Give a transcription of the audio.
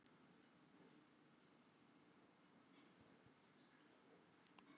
Breki Logason: Og hvert ætlarðu að fara?